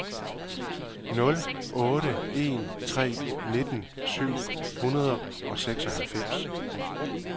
nul otte en tre nitten syv hundrede og seksoghalvfems